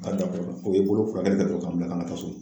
N ma dabola, o bi bolo furakɛlikɛ folo ka sɔrɔ k'an bila ka na so.